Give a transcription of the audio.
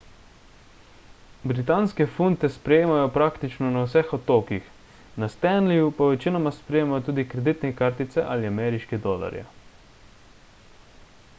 britanske funte sprejemajo praktično na vseh otokih na stanleyju pa večinoma sprejemajo tudi kreditne kartice in ameriške dolarje